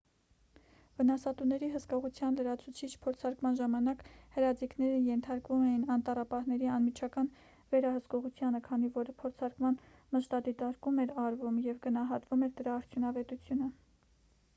վնասատուների հսկողության լրացուցիչ փորձարկման ժամանակ հրաձիգները ենթարկվում էին անտառապահների անմիջական վերահսկողությանը քանի որ փորձարկման մշտադիտարկում էր արվում և գնահատվում էր դրա արդյունավետությունը